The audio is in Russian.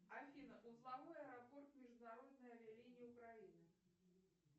афина узловой аэропорт международной авиалинии украины